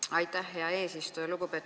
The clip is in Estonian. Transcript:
Aitäh, hea eesistuja!